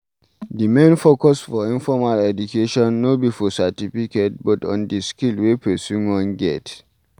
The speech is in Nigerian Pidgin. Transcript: The main focus for informal education no be for certificate but on di skill wey person wan get